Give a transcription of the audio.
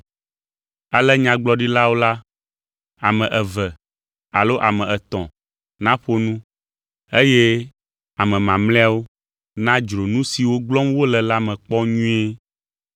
Ale Nyagblɔɖilawo la, ame eve alo ame etɔ̃ naƒo nu eye ame mamlɛawo nadzro nu siwo gblɔm wole la me kpɔ nyuie.